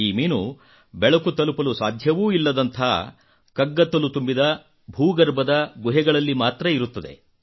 ಈ ಮೀನು ಬೆಳಕು ತಲುಪಲು ಸಾಧ್ಯವೂ ಇಲ್ಲದಂತಹ ಕಗ್ಗತ್ತಲು ತುಂಬಿದ ಭೂಗರ್ಭದ ಗುಹೆಗಳಲ್ಲಿ ಇರುತ್ತದೆ